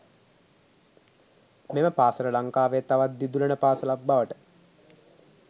මෙම පාසල ලංකාවේ තවත් දිදුලන පාසලක් බවට